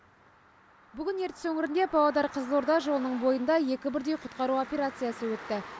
бүгін ертіс өңірінде павлодар қызылорда жолының бойында екі бірдей құтқару операциясы өтті